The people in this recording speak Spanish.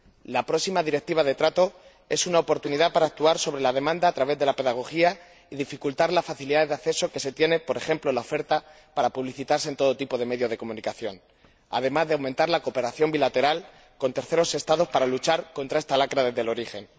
La próxima Directiva sobre trato es una oportunidad para actuar sobre la demanda a través de la pedagogía y dificultar las facilidades de acceso que se tiene, por ejemplo, en la oferta para publicitarse en todo tipo de medios de comunicación, además de aumentar la cooperación bilateral con terceros Estados para luchar contra esta lacra desde el origen.